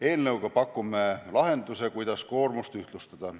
Eelnõuga pakume lahenduse, kuidas koormust ühtlustada.